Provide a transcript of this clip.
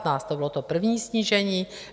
To bylo to první snížení.